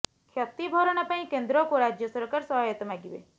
କ୍ଷତି ଭରଣା ପାଇଁ କେନ୍ଦ୍ରକୁ ରାଜ୍ୟ ସରକାର ସହାୟତା ମାଗିବେ